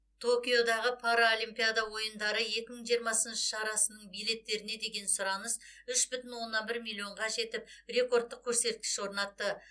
токиодағы паралимпиада ойындары екі мың жиырмасыншы шарасының билеттеріне деген сұраныс үш бүтін оннан бір миллионға жетіп рекордтық көрсеткіш орнатты